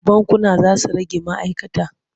Bankuna za su rage ma'aikata.